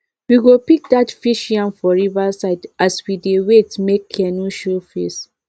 we go pick dat fish yam for river side as we dey wait make canoe show face